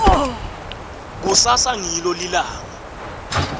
kusasa ngilo lilanga